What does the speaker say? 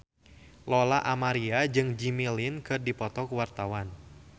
Lola Amaria jeung Jimmy Lin keur dipoto ku wartawan